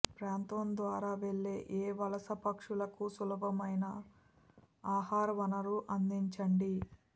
ప్రాంతం ద్వారా వెళ్ళే ఏ వలస పక్షులకు సులభమైన ఆహార వనరు అందించండి